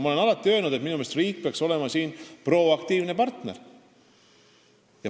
Ma olen alati öelnud, et minu meelest peaks riik siin olema proaktiivne partner.